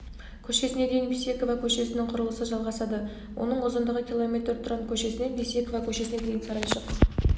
көшесіне дейін бейсекова көшесінің құрылысы жалғасады оның ұзындығы км тұран көшесінен бейсекова көшесіне дейін сарайшық